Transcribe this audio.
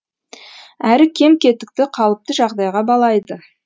әрі кем кетікті қалыпты жағдайға балайды